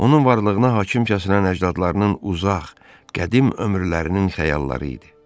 Onun varlığına hakim kəsilən əcdadlarının uzaq, qədim ömürlərinin xəyalları idi.